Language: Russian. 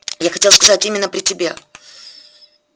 я хотел сказать именно при тебе